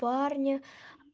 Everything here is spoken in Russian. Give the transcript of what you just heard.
парня